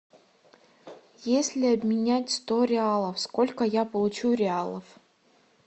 если обменять сто реалов сколько я получу реалов